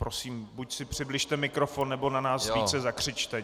Prosím, buď si přibližte mikrofon, nebo na nás více zakřičte.